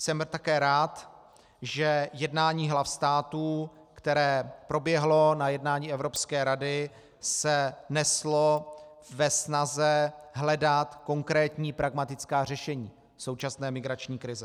Jsem také rád, že jednání hlav států, které proběhlo na jednání Evropské rady, se neslo ve snaze hledat konkrétní pragmatická řešení současné migrační krize.